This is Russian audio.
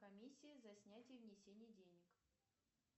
комиссия за снятие внесение денег